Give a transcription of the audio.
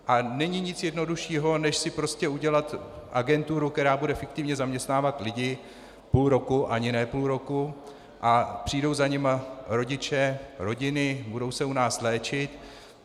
A není nic jednoduššího než si prostě udělat agenturu, která bude fiktivně zaměstnávat lidi půl roku, ani ne půl roku, a přijdou za nimi rodiče, rodiny, budou se u nás léčit.